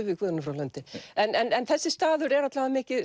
við Guðrúnu frá Lundi en en þessi staður er alla vega mikið